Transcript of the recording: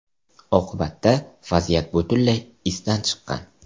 Oqibatda vaziyat butunlay izdan chiqqan.